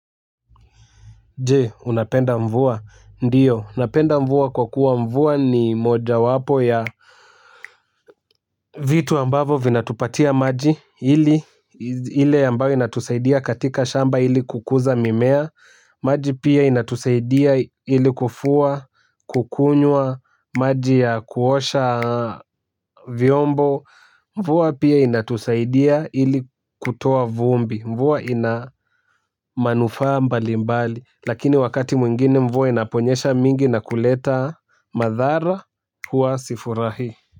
Jee, unapenda mvua, ndiyo, napenda mvua kwa kuwa mvua ni moja wapo ya vitu ambavyo vinatupatia maji ili, ile ambayo inatusaidia katika shamba ili kukuza mimea, maji pia inatusaidia ili kufua, kukunywa, maji ya kuosha vyombo. Mvua pia inatusaidia ili kutoa vumbi. Mvua ina manufaa mbali mbali. Lakini wakati mwingine mvua inaponyesha mingi na kuleta madhara hua sifurahii.